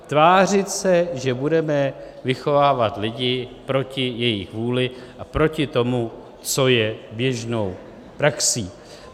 Tvářit se, že budeme vychovávat lidi proti jejich vůli a proti tomu, co je běžnou praxí.